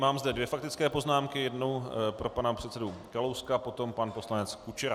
Mám zde dvě faktické poznámky, jednu pro pana předsedu Kalouska, potom pan poslanec Kučera.